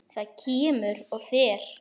Það kemur og fer.